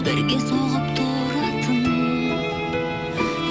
бірге соғып тұратын